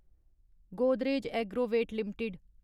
Godrej Agrovet limited